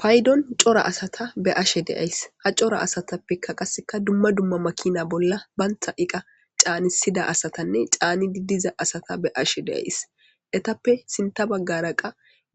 paydon cora asata be ashe deays ha cora asatappeka qasseka dumma dumma makina bolla bantha iqa caanisida asatanne caanidi diza asata be ashe deays etappe sinta baggaraqa